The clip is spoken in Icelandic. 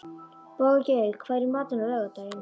Bogey, hvað er í matinn á laugardaginn?